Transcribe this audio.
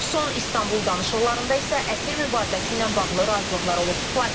Son İstanbul danışıqlarında isə əsir mübadiləsi ilə bağlı razılıqlar olub.